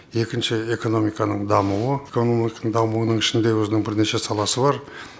екінші экономиканың дамуы экономиканың дамуының ішінде өзінің бірнеше саласы бар